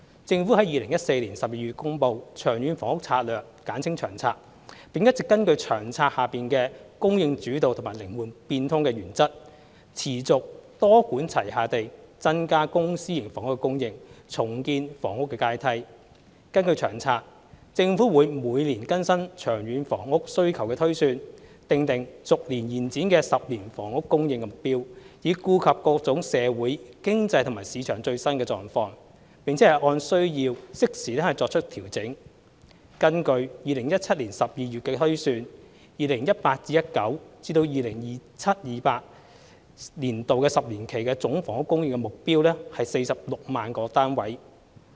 政府於2014年12月公布《長遠房屋策略》，並一直根據《長策》下"供應主導"及"靈活變通"的原則，持續多管齊下地增加公私營房屋的供應，重建房屋階梯。根據《長策》，政府會每年更新長遠房屋需求推算，訂定逐年延展的10年房屋供應目標，以顧及各種社會、經濟和市場最新狀況，並按需要適時作出調整。根據2017年12月的推算 ，2018-2019 年度至 2027-2028 年度10年期的總房屋供應目標為46萬個單位。